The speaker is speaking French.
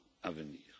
à venir.